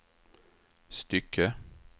stycke